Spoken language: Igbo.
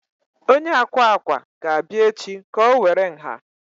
Onye akwa akwa ga-abịa echi ka o were nha